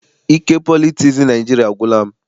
Ike politiks Naịjiria agwụla m.